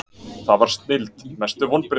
það var snilld Mestu vonbrigði?